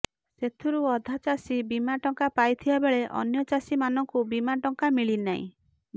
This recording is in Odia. ସେଥିରୁ ଅଧା ଚାଷୀ ବୀମା ଟଙ୍କା ପାଇଥିବାବେଳେ ଅନ୍ୟ ଚାଷୀମାନଙ୍କୁ ବୀମା ଟଙ୍କା ମିଲିନାହିଁ